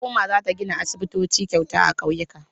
Hukuma za ta gina aisibitoci kyauta a ƙauyuka.